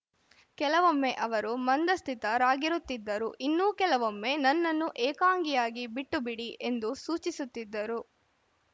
ಕೆಲವೊಮ್ಮೆ ಅವರು ಮಂದಸ್ಥಿತರಾಗಿರುತಿದ್ದರು ಇನ್ನು ಕೆಲವೊಮ್ಮೆ ನನ್ನನ್ನು ಏಕಾಂಗಿಯಾಗಿ ಬಿಟ್ಟು ಬಿಡಿ ಎಂದು ಸೂಚಿಸುತ್ತಿದ್ದರು